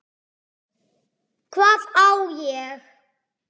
Hvað á ég?